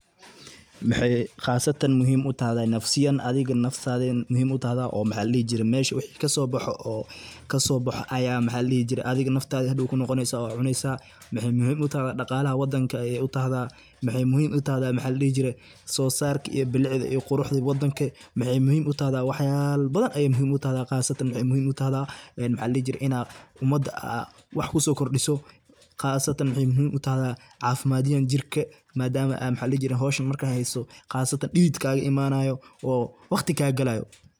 Waxay qasatan muhiim utahay nafsiyan adiga naftada muhim utahay oo maxa ladihi jiray mesha wixi kasoboxo oo aya adiga naftada hadow kunoqoneysa oo cuneysa, wexey muhim utaha dhaqalaha wadanka ayey utahda, waxay muhiim utahda sosarka iyo bilicda iyo quruxda wadanka, waxay muhiim utaha waxayalo badan ayey muhiim utahda qasatan waxay muhiim utaha inad umada ad wax kusokordiso qasatan waxay muhiim utahda cafimadiyan jirka madama ay howsha marka heyso qasatan dhidid kagaimanayo oo waqti kagalayo.